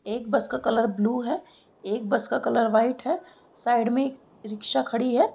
एक बस का colour blue है एक बस का कलर वाइट है साइड में एक रिक्शा खड़ी है।